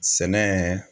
Sɛnɛ